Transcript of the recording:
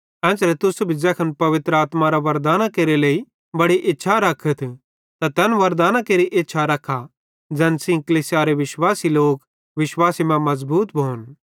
एन्च़रे तुस भी ज़ैखन पवित्र आत्मारे वरदानां केरे लेइ बड़ी इच्छा रखतथ त तैन वरदानां केरि इच्छा रखा ज़ैन सेइं कलीसियारे विश्वासी लोक विश्वासे मां मज़बूत भोन